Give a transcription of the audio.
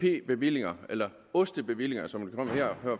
bevillinger eller ost bevillinger som de